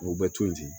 O bɛ to yen ten